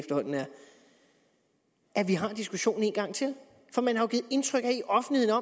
at vi har diskussionen en gang til for man har givet indtryk af i offentligheden